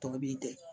Tɔ b'i degun